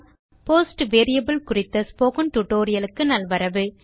post variable குறித்த spoken tutorial க்கு நல்வரவு